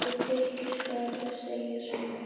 Fyrir drykkju- skap, segja sumir.